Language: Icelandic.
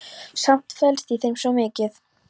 Samt felst í þeim svo mikið.